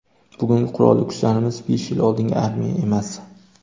Bugungi Qurolli Kuchlarimiz besh yil oldingi armiya emas.